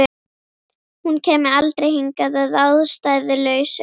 Hún kæmi aldrei hingað að ástæðulausu.